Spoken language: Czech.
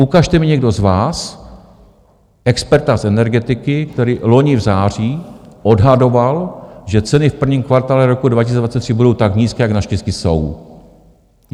Ukažte mi někdo z vás experta z energetiky, který loni v září odhadoval, že ceny v prvním kvartále roku 2023 budou tak nízké, jak naštěstí jsou.